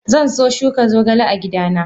Zanso shuka zogale a gidana.